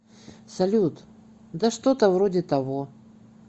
салют да что то вроде того